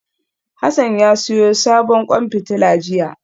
Hassan ya siyo sabon kwan fitila jiya